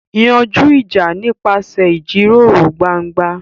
Yanjú ìjà nípasẹ̀ ìjíròrò gbangba.